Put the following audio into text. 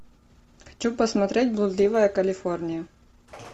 хочу посмотреть блудливая калифорния